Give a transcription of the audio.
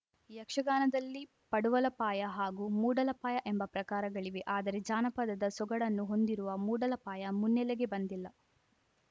ಯಕ್ಷಗಾನದಲ್ಲಿ ಪಡುವಲಪಾಯ ಹಾಗೂ ಮೂಡಲಪಾಯ ಎಂಬ ಪ್ರಕಾರಗಳಿವೆ ಆದರೆ ಜಾನಪದದ ಸೊಗಡನ್ನು ಹೊಂದಿರುವ ಮೂಡಲಪಾಯ ಮುನ್ನೆಲೆಗೆ ಬಂದಿಲ್ಲ